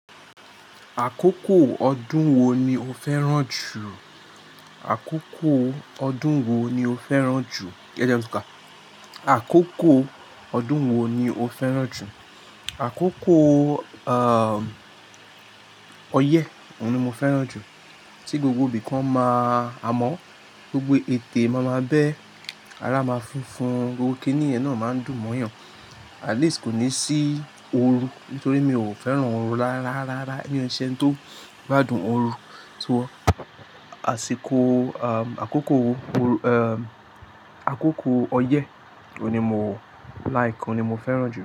Àkókò ọdún wo ni o fẹ́ràn jù? Àkókò ọdún wo ni o fẹ́ràn jù? Kí lọ dé ọ́ ká? Àkókò ọdún wo ni o fẹ́ràn jù? Àkókò, ahn, ọyẹ́, òun ni mo fẹ́ràn jù. Tí gbogbo ibìkan máa hámọ́, gbogbo ètè mọ̀ọ́ máa bẹ́, ara máa funfun, gbogbo kíní ẹ̀nà máa ń dùn mọ́yàn. At least kò ní sí oru nítorí mi ò fẹ́ràn oru rárá, rárá. Èmí o nsẹni tó gbádùn oru, tò ó. Àṣìkò, ahn, àkókò, ahn, àkókò ọyẹ́ ni mo like, òun ni mo fẹ́ràn jù.